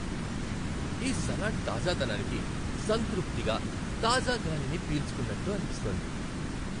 ఈ సలాడ్ తాజాదనానికి సంతృప్తిగా, తాజా గాలిని పీల్చుకున్నట్టు అనిపిస్తోంది.